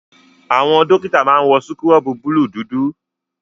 Àwọn dọ́kítà máa wọ síkúrọ̀bù búlùù dúdú.